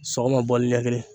Sɔgɔma ni ɲɛ kelen